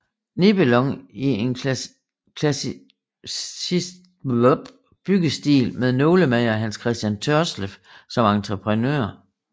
Nebelong i en klassicistisk byggestil med nålemager Hans Christian Tørsleff som entreprenør